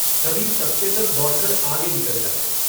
कभी सब के सब दौड़कर आगे निकल जाते।